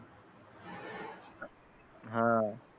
हा